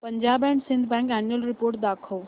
Punjab and Sind bank annual report दाखव